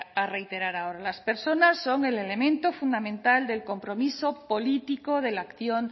a reiterar ahora las personas son el elemento fundamental del compromiso político de la acción